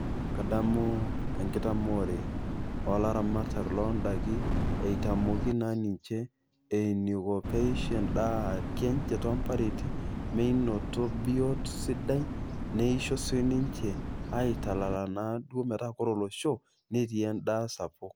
Kadamu enkitamoore oolaramatak loondaiki, eitamoki naa ninche eneiko peisho ndaiki enye toompareti menoto biotisho sidai, neisho sii ninche aitalala meta kore olosho netii endaa sapuk.